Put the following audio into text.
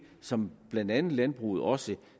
som blandt andet landbruget også